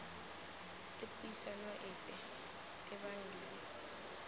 le puisano epe tebang le